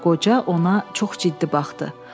Qoca ona çox ciddi baxdı.